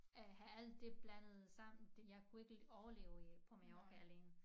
Øh have at det blandet sammen det jeg kunne overleve på Mallorca alene